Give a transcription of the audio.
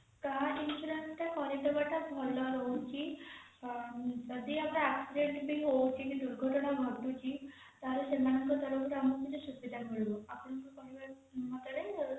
car insurance ଟା କରେଇଦବା ଟା ଭଲ ରହୁଛି ଯଦି ଆମର accident ବି ହଉଛି କି ଦୁର୍ଘଟଣା ଘଟୁଛି ତାହେଲେ ସେମାନଙ୍କ ତରଫରୁ ଆମକୁ କିଛି ସୁବିଧା ମିଳୁ ଆପଣଙ୍କ କହିବ ମତରେ